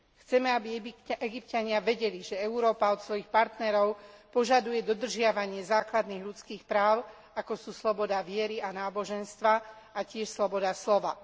Chceme, aby Egypťania vedeli, že Európa od svojich partnerov požaduje dodržiavanie základných ľudských práv, ako sú sloboda viery a náboženstva a tiež sloboda slova.